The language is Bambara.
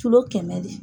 kɛmɛ de